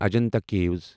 Ajanta caves